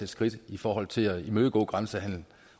skridt i forhold til at imødegå grænsehandel